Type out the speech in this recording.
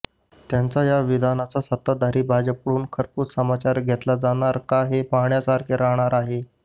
त्यांच्या या विधानाचा सत्ताधारी भाजपकडून खरपूस समाचार घेतला जाणार का हे पाहण्यासारखे राहणार आहे